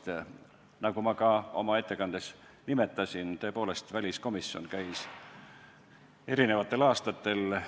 Tõepoolest, nagu ma oma ettekandes nimetasin, käis väliskomisjon eri aastatel